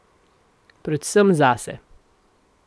Predvsem zase.